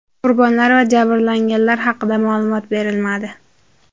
Qurbonlar va jabrlanganlar haqida ma’lumot berilmadi.